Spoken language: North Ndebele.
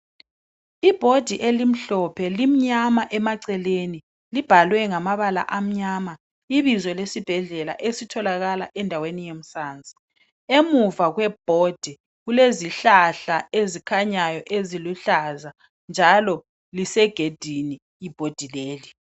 Ibhodi elimhlophe limnyama emaceleni libhalwe ngamabala amnyama, ibizo lesibhedlela esitholakala endaweni yemsansi. Emuva kwebhodi kulezihlahla ezikhanyayo eziluhlaza njalo lisegedini ibhodi leli.